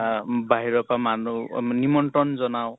আহ বাহিৰৰ পৰা মানুহ অম নিমন্ত্ৰন জনাও